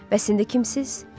Bəs indi kimsiniz?